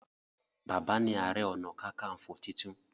Bàbá ní are onakakanfo títún.